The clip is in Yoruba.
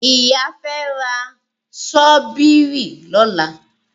Ìyá fi ra ṣọ́bìrì lọ́la.